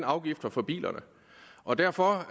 afgiften fra bilerne og derfor